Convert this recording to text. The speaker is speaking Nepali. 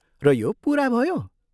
र यो पुरा भयो?